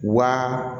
Wa